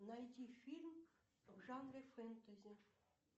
найди фильм в жанре фэнтези